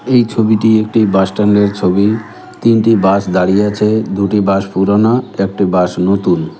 এই ছবিটি একটি বাস স্ট্যান্ড -এর ছবি তিনটি বাস দাঁড়িয়ে আছে দুটি বাস পুরোনো একটি বাস নতুন।